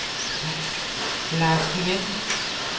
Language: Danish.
Lars Nguyen